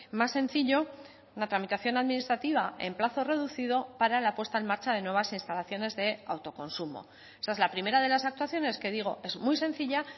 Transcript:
más sencillo una tramitación administrativa en plazo reducido para la puesta en marcha de nuevas instalaciones de autoconsumo esa es la primera de las actuaciones que digo es muy sencilla